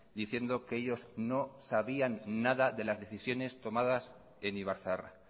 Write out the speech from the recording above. diciendo que ellos no sabían nada de las decisiones tomadas en ibarzaharra